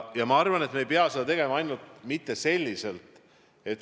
Ja ma arvan, et me ei pea sellest rääkima ainult enne valmisi.